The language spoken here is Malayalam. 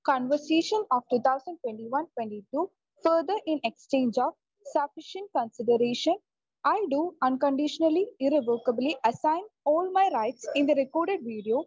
conversation of 2021-22 further in exchange of sufficient consideration I do unconditionally irrevocably assign all my right in the record video